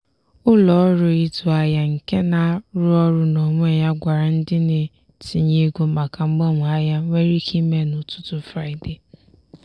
ụlọọrụ ịzụ ahịa nke na-arụ ọrụ n'onwe ya gwara ndị na-etinye ego maka mgbanwe ahịa nwere ike ime n'ụtụtụ fraịde.